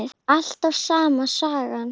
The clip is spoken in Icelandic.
Alltaf sama sagan.